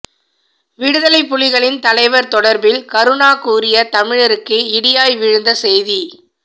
விடுதலைப்புலிகளின் தலைவர் தொடர்பில் கருணா கூறிய தமிழருக்கு இடியாய் விழுந்த செய்தி